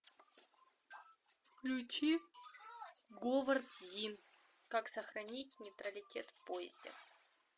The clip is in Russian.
включи говард зинн как сохранить нейтралитет в поезде